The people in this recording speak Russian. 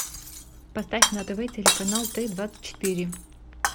поставь на тв телеканал т двадцать четыре